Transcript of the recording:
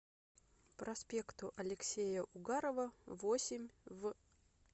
проспекту алексея угарова восемь в